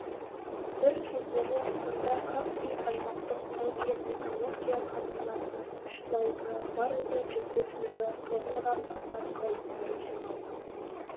бір кездері мұнда каспий аймақтық тау кен металлургия комбинатының үш зауытынан барлығы жүз бес миллион тоннадан астам қалдықтары жиналған